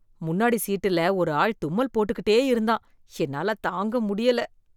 முன்னாடி சீட்டில ஒரு ஆள் தும்மல் போட்டுக்கிட்டே இருந்தான் என்னால தாங்க முடியல.